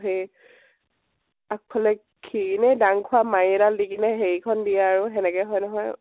সেই । আগ্ফালে খি এনেই দাঙ খোৱা মাৰি এদাল দি কিনে, হেৰি খন দিয়ে আৰু সেনেকে হয়, নহয়